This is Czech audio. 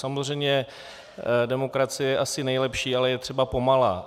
Samozřejmě demokracie je asi nejlepší, ale je třeba pomalá.